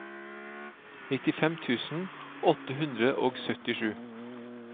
nittifem tusen åtte hundre og syttisju